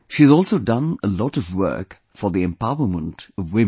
She has also done a lot of work for the empowerment of women